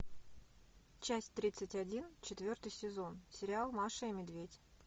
часть тридцать один четвертый сезон сериал маша и медведь